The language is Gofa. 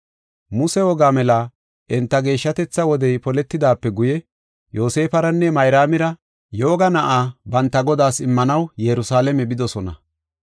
Muse woga mela enta geeshshatetha wodey poletidaape guye Yoosefaranne Mayraamira yooga na7aa banta Godaas immanaw Yerusalaame bidosona.